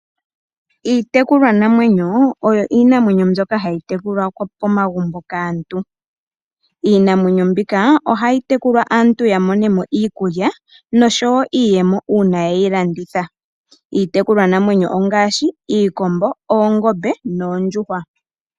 iitekulwanamwenyo oyo iinamwenyo mbyoka hayi tekulwa momagumbo kaantu. Iinamwenyo mbika ohayi tekulwa aantu ya mone mo iikulya noshowo iiyemo uuna ye yi landitha. Iitekulwanamwenyo ongaashi: iikombo, oongombe noondjuhwa.